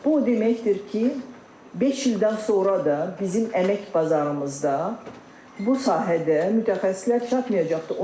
Bu o deməkdir ki, beş ildən sonra da bizim əmək bazarımızda bu sahədə mütəxəssislər çatmayacaqdır.